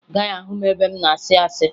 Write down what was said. Ị gaghị ahụ m ebe m na-asị asị